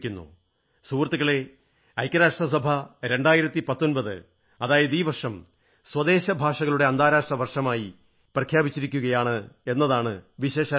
സുഹൃത്തുക്കളേ ഐക്യരാഷ്ട്ര സഭ 2019 അതായത് നടപ്പുവർഷം തദ്ദേശീയ ഭാഷകളുടെ അന്താരാഷ്ട്ര വർഷമായി പ്രഖ്യാപിച്ചിരിക്കയാണ് എന്നതാണ് വിശേഷാൽ കാര്യം